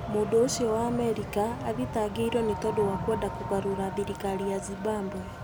Mũndũ ũcio wa Amerika nĩ athitangĩrũo nĩ tondu wa kuenda kũgarũra thirikari ya Zimbabwe"